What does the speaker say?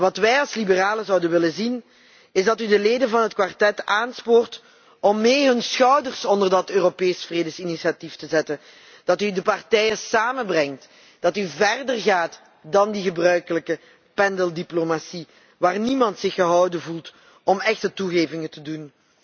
Wat wij als liberalen zouden willen zien is dat u de leden van het Kwartet aanspoort om mee hun schouders onder dat Europese vredesinitiatief te zetten. Wij willen dat u de partijen samenbrengt en dat u verder gaat dan de gebruikelijke pendeldiplomatie waarbij niemand zich gehouden voelt om echte toegevingen te doen.